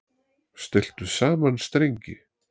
Stilltu saman strengi